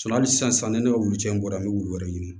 hali sisan ne ka wulu cɛ in bɔra an bɛ wulu wɛrɛ ɲini